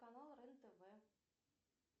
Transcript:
канал рен тв